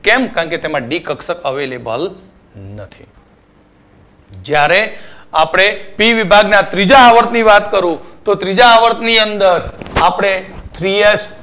કેમ કે તેમાં બી કક્ષક available નથી જ્યારે આપણે પી વિભાગ માં બીજા આવર્ત ની વાત કરું તો બીજા આવર્ત ની અંદર આપણે Three H Two